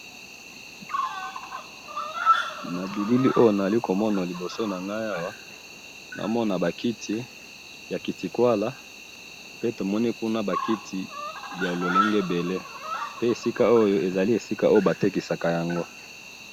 na bilili oyo nazali komona na liboso nangai awa namona bakiti ya kiti kuala pe tomoni kuna bakiti ya lolenge ebele pe esika oyo ezali esika oyo batekisaka yango